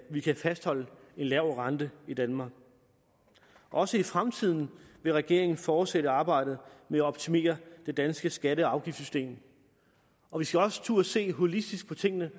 vi kan fastholde en lav rente i danmark også i fremtiden vil regeringen fortsætte arbejdet med at optimere det danske skatte og afgiftssystem og vi skal også turde se holistisk på tingene